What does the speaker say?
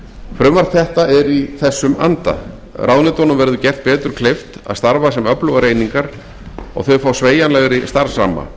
frumvarp þetta er í þessum anda ráðuneytunum verður gert betur kleift að starfa sem öflugar einingar og þau fá sveigjanlegri starfsramma